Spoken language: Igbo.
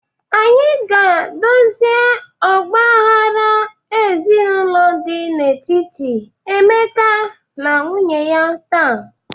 Anyị ga-edozi ọgba aghara ezinụlọ dị n'etiti Emeka na nwunye taa.